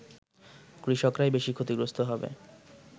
কৃষকরাই বেশি ক্ষতিগ্রস্ত হবে